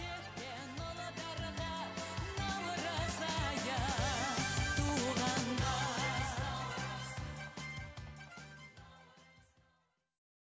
кеткен ұлдарға наурыз айы туғанда